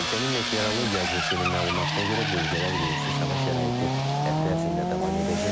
Ölkənin meteorologiya agentliyinin məlumatına görə, bölgədə əlverişsiz hava şəraiti həftə ərzində davam edəcək.